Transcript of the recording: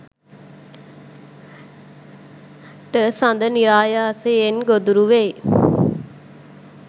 ට සඳ නිරායාසයෙන් ගොදුරු වෙයි.